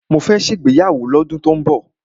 Mó fẹ́ ṣe ìgbéyàwó ní ọdún tó n bọ̀.